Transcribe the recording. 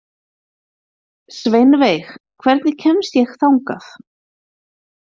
Sveinveig, hvernig kemst ég þangað?